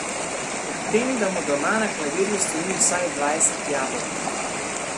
Ob tem, da mu doma na klavirju stoji vsaj dvajset jabolk.